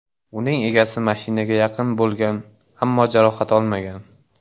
Uning egasi mashinaga yaqin bo‘lgan, ammo jarohat olmagan.